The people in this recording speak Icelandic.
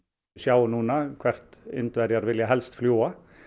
sjáum núna hvert Indverjar vilja helst fljúga